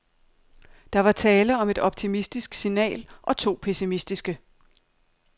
Der var tale om et optimistisk signal og to pessimistiske.